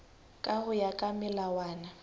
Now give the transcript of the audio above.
ka ho ya ka melawana